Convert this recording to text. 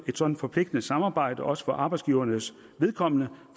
et sådant forpligtende samarbejde også for arbejdsgivernes vedkommende